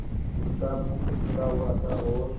उसका मुख खुला हुआ था और